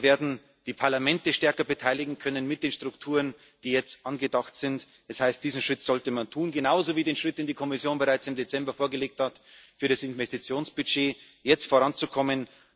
Wir werden die Parlamente stärker beteiligen können mit den Strukturen, die jetzt angedacht sind. Das heißt, diesen Schritt sollte man tun, genauso wie den Schritt, den die Kommission bereits im Dezember vorgeschlagen hat, mit dem Investitionsbudget jetzt voranzukommen.